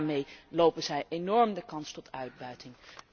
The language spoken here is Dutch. En daarmee lopen zij enorm de kans op uitbuiting.